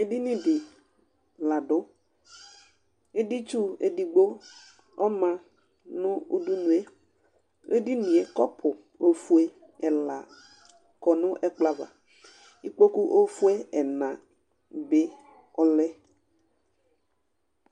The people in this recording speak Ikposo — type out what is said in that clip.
Edini dɩ la dʋ Editsu edigbo ɔma nʋ udunu yɛ Edini yɛ kɔpʋ ofue ɛla akɔ nʋ ɛkplɔ ava Ikpoku ofue ɛna dɩnɩ alɛ